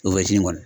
O bɛ ji kɔni